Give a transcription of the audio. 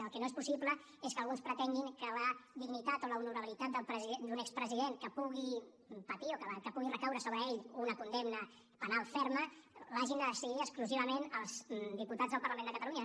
el que no és possible és que alguns pretenguin que la dignitat o l’honorabilitat d’un expresident que pugui patir o que pugui recaure sobre ell una condemna penal ferma l’hagin de decidir exclusivament els diputats del parlament de catalunya